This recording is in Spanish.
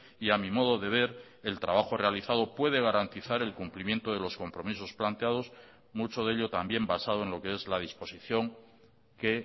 y a mi modo de ver el trabajo realizado puede garantizar el cumplimiento de los compromisos planteados mucho de ello también basado en lo que es la disposición que